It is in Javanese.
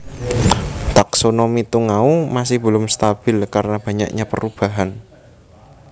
Taksonomi tungau masih belum stabil karena banyaknya perubahan